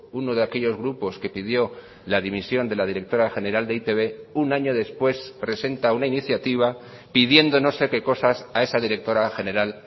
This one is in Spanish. uno de aquellos grupos que pidió la dimisión de la directora general de e i te be un año después presenta una iniciativa pidiendo no sé qué cosas a esa directora general